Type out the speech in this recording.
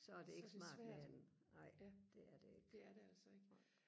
så er det svært ja det er det altså ikke